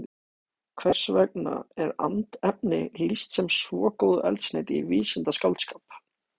Hvers vegna er andefni lýst sem svo góðu eldsneyti í vísindaskáldskap?